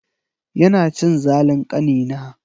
Yana cin zalin ƙanina.